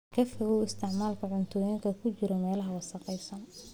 Ka fogow isticmaalka cuntooyinka ku jiray meelaha wasakhaysan.